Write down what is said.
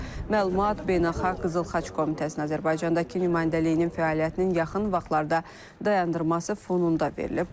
Məlumat beynəlxalq Qızıl Xaç Komitəsinin Azərbaycandakı nümayəndəliyinin fəaliyyətinin yaxın vaxtlarda dayandırması fonunda verilib.